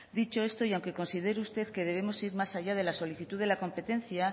dicho esto y aunque considere usted que debemos ir más allá de la solicitud de la competencia